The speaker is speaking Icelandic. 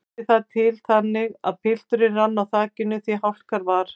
Vildi það til þannig að pilturinn rann á þakinu því hálka var.